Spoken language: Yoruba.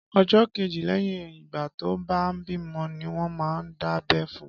Ọjọ kéjé lẹyin igbà tọ bà bimọ niwọn mà n dábẹ̀ fùn